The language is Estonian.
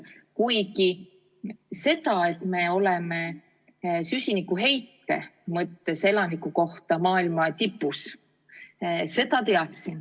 Kuigi seda, et me oleme oma süsinikuheitega elaniku kohta maailma tipus, ma teadsin.